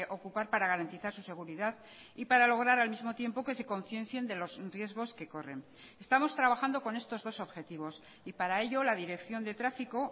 ocupar para garantizar su seguridad y para lograr al mismo tiempo que se conciencien de los riesgos que corren estamos trabajando con estos dos objetivos y para ello la dirección de tráfico